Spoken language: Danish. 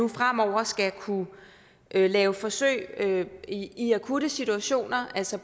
fremover skal kunne lave forsøg i i akutte situationer altså